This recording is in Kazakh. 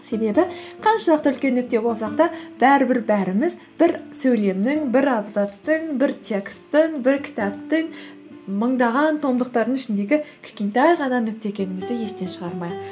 себебі қаншалықты үлкен нүкте болсақ та бәрібір бәріміз бір сөйлемнің бір абзацтың бір тексттің бір кітаптың мыңдаған томдықтардың ішіндегі кішкентай ғана нүкте екендімізді естен шығармайық